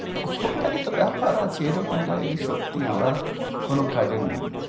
ওটাই তো ব্যাপার আছে এরকম লাগে যে সত্যি আমরা কোনো কাজের নেই